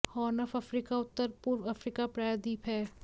horn of Africa उत्तर पूर्व Africa प्रायद्वीप है